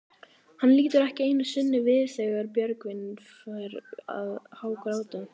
Hann lítur ekki einu sinni við þegar Björgvin fer að hágráta.